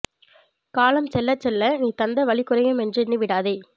காலம் செல்லச் செல்ல நீ தந்த வலி குறையும் என்றெண்ணி விடாதே